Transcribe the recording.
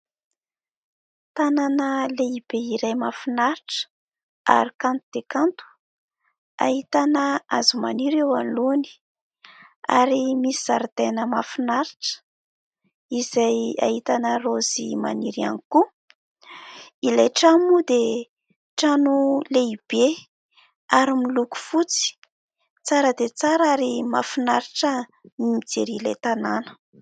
Tanàna lehibe iray mahafinaritra ary kanto dia kanto. Ahitana hazo maniry eo anoloany ary misy zaridaina mahafinaritra izay ahitana raozy maniry ihany koa. Ilay trano moa dia trano lehibe ary miloko fotsy. Tsara dia tsara ary mahafinaritra ny mijery ilay tanàna !